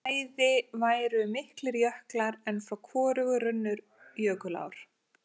Bæði væru miklir jöklar en frá hvorugu runnu jökulár.